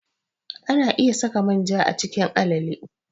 Ana iya saka manja a cikin alale.